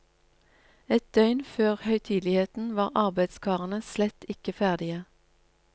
Et døgn før høytideligheten var arbeidskarene slett ikke ferdige.